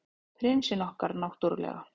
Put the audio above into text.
Prinsinn okkar, náttúrlega.